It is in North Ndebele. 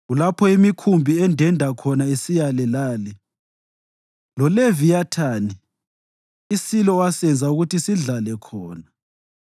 Kulapho imikhumbi endenda khona isiyale lale, loleviyathani, isilo owasenza ukuthi sidlale khona.